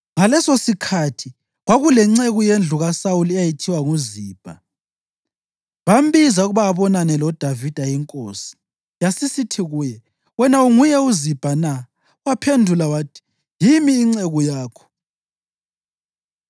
Ngalesosikhathi kwakulenceku yendlu kaSawuli eyayithiwa nguZibha. Bambiza ukuba abonane loDavida, inkosi yasisithi kuye, “Wena unguye uZibha na?” Waphendula wathi, “Yimi inceku yakho.”